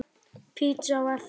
Pizza á eftir.